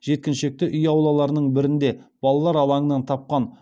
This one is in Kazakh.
жеткіншекті үй аулалалырының бірінде балалар алаңынан тапқан